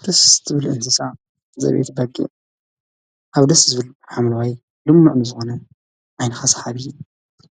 ክርስት ብልእንስሳ ዘብት በጊዕ ኣብ ደስ ዝብል ሓምልዋይ ሉምኖዕ ምዝዋነ ዓይንኸሳ ሓብዪ